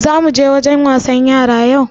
Za muje wajen wasan yara yau?